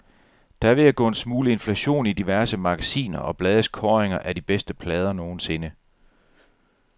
Der er ved at gå en smule inflation i diverse magasiner og blades kåringer af de bedste plader nogensinde.